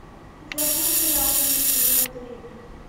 у тебя будет сериал крик сезон три